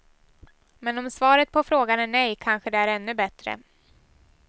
Men om svaret på frågan är nej, kanske det är ännu bättre.